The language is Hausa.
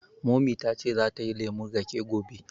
Mummy ta ce za ta yi lemun raƙe gobe